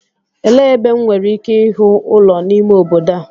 Elee ebe M nwere ike ịhụ ụlọ n'ime obodo a?